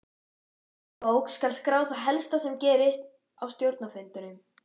Í gerðabók skal skrá það helsta sem gerist á stjórnarfundum.